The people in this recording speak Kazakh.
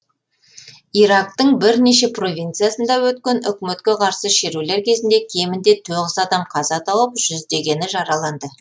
ирактың бірнеше провинциясында өткен үкіметке қарсы шерулер кезінде кемінде тоғыз адам қаза тауып жүздегені жараланды